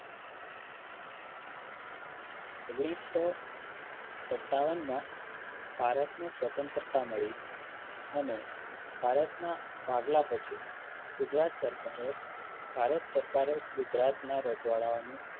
ઓગણીસો સત્તાવન મા ભારતને સ્વતંત્રતા મળી અને ભારતના ભાગલા પછી ગુજરાત સરકારે ભારત સરકારે ગુજરાતના રજવાડાઓને